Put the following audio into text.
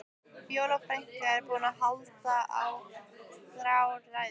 Fjóla frænka er búin að halda þrjár ræður.